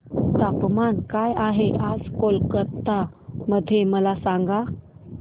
तापमान काय आहे आज कोलकाता मध्ये मला सांगा